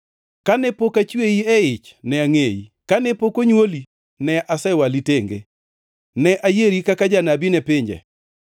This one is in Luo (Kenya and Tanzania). “Kane pok achweyi e ich ne angʼeyi, kane pok onywoli ne asewali tenge; ne ayieri kaka janabi ne pinje.”